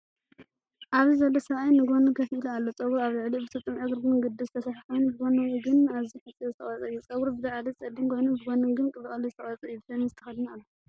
ኣብዚ ዘሎ ሰብኣይ ንጐድኒ ኮፍ ኢሉ ኣሎ። ጸጉሩ ኣብ ልዕሊኡ ብስጡምን ዕግርግርን ቅዲ ዝተሰርሐ ኮይኑ፡ ብጎኒ ግን ኣዝዩ ሓጺር ዝተቖርጸ እዩ። ጸጉሩ ብላዕሊ ጸሊም ኮይኑ፡ ብጎኒ ግን ብቐሊሉ ዝተቖርጸ እዩ። ሸሚዝ ተኸዲኑ ኣሎ።